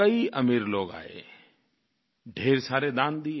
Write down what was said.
कई अमीर लोग आए ढेर सारे दान दिए